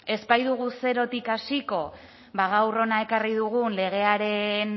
ez baitugu zerotik hasiko gaur hona ekarri dugun legearen